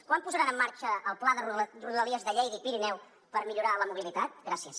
quan posaran en marxa el pla de rodalies de lleida i pirineu per millorar la mobilitat gràcies